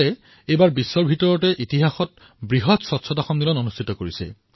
এইবাৰ ভাৰতে ইতিহাসত বিশ্বৰ সকলোতকৈ ডাঙৰ সন্মিলনৰ আয়োজন কৰিছে